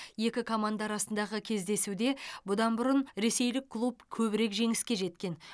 екі команда арасындағы кездесуде бұдан бұрын ресейлік клуб көбірек жеңіске жеткен